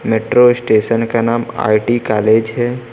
Metro station का नाम IT college है।